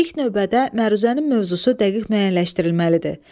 İlk növbədə məruzənin mövzusu dəqiq müəyyənləşdirilməlidir.